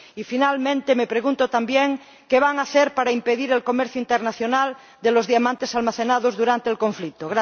Y, por último, me pregunto también qué van a hacer para impedir el comercio internacional de los diamantes almacenados durante el conflicto.